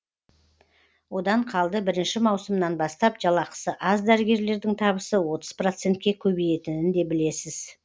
одан қалды бірінші маусымнан бастап жалақысы аз дәрігерлердің табысы отыз процентке көбейетінін де білесіз